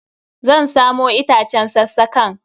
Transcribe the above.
Zan samo itacen sassakan.